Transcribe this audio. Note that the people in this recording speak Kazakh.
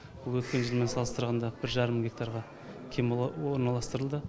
бұл өткен жылмен салыстырғанда бір жарым гектарға кем орналастырылды